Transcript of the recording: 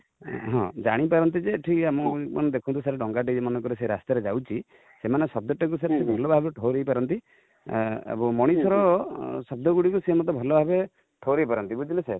ହାଁ ଜାଣି ପାରନ୍ତି ଯେ ଏଠି ଆମକୁ, ମାନେ ଦେଖନ୍ତୁ ସାର ଡଙ୍ଗା ଟେ ବି ମନେ କର ସେ ରାସ୍ତା ରୁ ଯାଉ ଛି ,ସେମାନେ ଶବ୍ଦ ଟାକୁ ବି ସାର ଭଲ ଭାବ ରେ ଠଉରେଇ ପାରନ୍ତି ଏବଂ ମଣିଷ ର ଶବ୍ଦ ଗୁଡ଼ିକ ସେ ମଧ୍ୟ ଭଲ ଭାବରେ ଠଉରେଇ ପାରନ୍ତି ବୁଝିଲେ sir